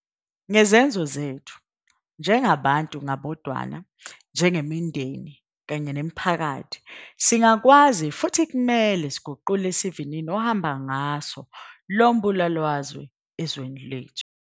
Ngezenzo zethu - njengabantu ngabodwana, njengemindeni, nemiphakathi - singakwazi futhi kumele siguqule isivinini ohamba ngaso lo mbulalazwe ezweni lethu.